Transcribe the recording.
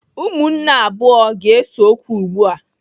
Ụmụnne abụọ ga-ese okwu ugbu a.